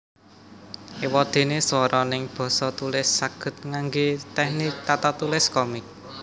Ewadene swara neng basa tulis saged ngangge teknik tatatulis komik